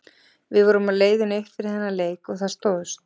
Við vorum á leiðinni upp fyrir þennan leik og það stóðst.